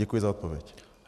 Děkuji za odpověď.